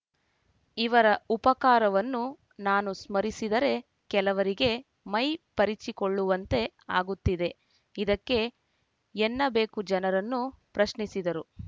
ಇವರ ಉಪಕಾರವನ್ನು ನಾನು ಸ್ಮರಿಸಿದರೆ ಕೆಲವರಿಗೆ ಮೈ ಪರಿಚಿಕೊಳ್ಳುವಂತೆ ಆಗುತ್ತಿದೆ ಇದಕ್ಕೆ ಏನ್ನಬೇಕು ಜನರನ್ನು ಪ್ರಶ್ನಿಸಿದರು